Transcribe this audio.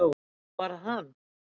Og var það hann?